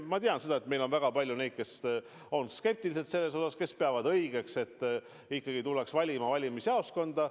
Ma tean, et meil on väga palju neid, kes on selles osas skeptilised, kes peavad õigeks, et ikkagi tuldaks valima valimisjaoskonda.